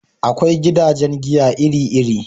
Akwai gidajen giya iri iri